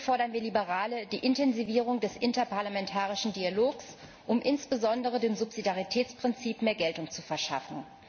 Hier fordern wir Liberale die Intensivierung des interparlamentarischen Dialogs, um insbesondere dem Subsidiaritätsprinzip mehr Geltung zu verschaffen.